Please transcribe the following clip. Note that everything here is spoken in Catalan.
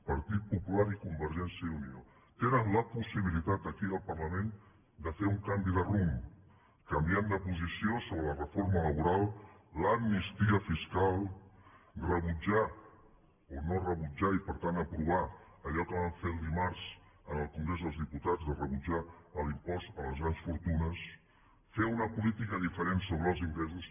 partit popular i convergència i unió tenen la possibilitat aquí al parlament de fer un canvi de rumb canviant de posició sobre la reforma laboral l’amnistia fiscal rebutjar o no rebutjar i per tant aprovar allò que van fer dimarts en el congrés dels diputats de rebutjar l’impost a les grans fortunes fer una política diferent sobre els ingressos